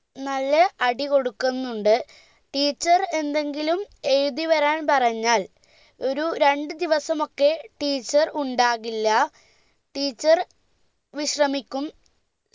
നല്ല അടികൊടുക്കുന്നുണ്ട് teacher എന്തെങ്കിലും എഴുതിവരാൻ പറഞ്ഞാൽ ഒരു രണ്ട് ദിവസമൊക്കെ teacher ഉണ്ടാകില്ല teacher വിശ്രമിക്കും